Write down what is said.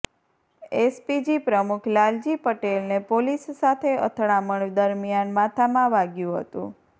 SPG પ્રમુખ લાલજી પટેલને પોલીસ સાથે અથડામણ દરમિયાન માથામાં વાગ્યુ હતુ